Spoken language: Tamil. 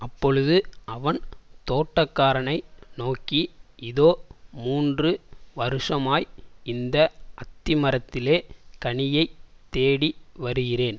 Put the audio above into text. அப்பொழுது அவன் தோட்டக்காரனை நோக்கி இதோ மூன்று வருஷமாய் இந்த அத்திமரத்திலே கனியைத் தேடி வருகிறேன்